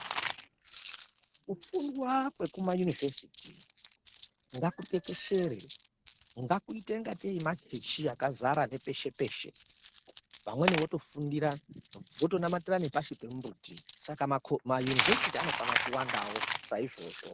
Kufundwa kwekumayunivhesiti ngakutekeshere, ngakuite ingatei machechi akazara nepeshe-peshe. Vamweni votofundira, votonamatira nepashi pemumbuti saka mayunivhesiti anofana kuwandawo saizvozvo.